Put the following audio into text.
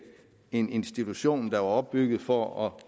en institution der blev opbygget for at